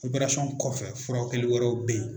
kɔfɛ furaw kɛli wɛrɛw bɛ ye.